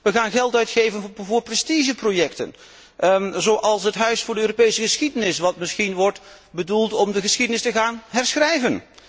We gaan geld uitgeven voor prestigeprojecten zoals het huis voor de Europese geschiedenis wat misschien wordt bedoeld om de geschiedenis te gaan herschrijven.